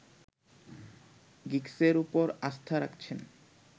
গিগসের উপর আস্থা রাখছেন